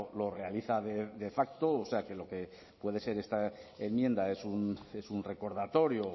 lo realiza de facto o sea que lo que puede ser esta enmienda es un recordatorio